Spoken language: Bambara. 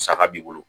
Saga b'i bolo